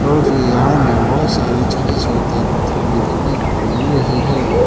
और फिर यहां में बहुत सारी छोती छोती पत्थर भी दिखने को मिल रही हैं।